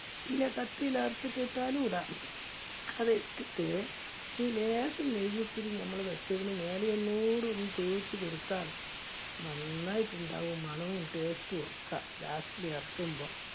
ഇല്ലേ കത്തിയില് അറുത്ത് ഇട്ടും ഇടാം. അത് ഇട്ടിട്ട് ലേശം നെയ്യ് ഇത്തിരി നമ്മൾ വെചതിന് മേലെ ഒന്നൂടെ ഒന്ന് തൂക്കിച്ചു കൊടുത്താൽ നന്നായിട്ടുട്ടുണ്ടാവും. മണവും taste റ്റും ഒക്കെ last ല് ഇറക്കുമ്പോ